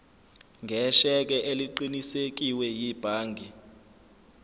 ngesheke eliqinisekiwe yibhangi